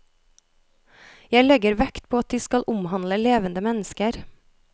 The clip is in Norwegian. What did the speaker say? Jeg legger vekt på at de skal omhandle levende mennesker.